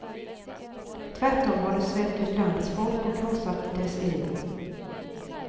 Tvärtom har det svält ut landets folk och krossat dess elit.